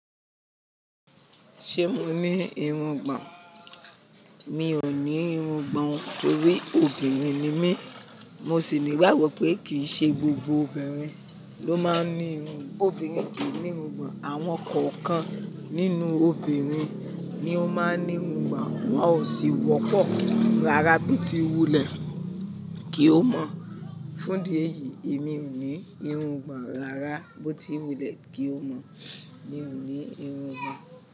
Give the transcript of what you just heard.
Ṣé mo ní irun gbàn? Mi ò ní irun gbàn torí obìnrin ni mí. Mo sì ní ìgbàgbọ́ pé kì í ṣe gbogbo obìnrin ló máa ń ní irun. Obìnrin kì í ní irun gbàn, àwọn kọ̀ọ̀kan nínú obìnrin ni ó máa ń ní irun gbàn, wọ́n ò sì wọ́pọ̀. Rárá bó ti wulẹ̀ kí o mọ̀. Fún di èyí, èmi ò ní irun gbàn. Rárá bó ti wulẹ̀ kí o mọ̀, mi ò ní irun gbàn.